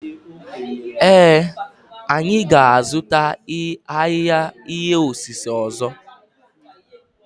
Ee, anyị ga-azụta ahịhịa ihe osise ọzọ.